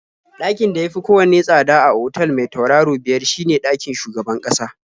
Ɗakin da ya fi kowanne tsada a otal mai turaro biyar shine ɗakin shugaban ƙasa.